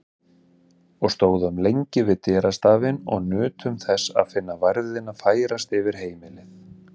Og stóðum lengi við dyrastafinn og nutum þess að finna værðina færast yfir heimilið.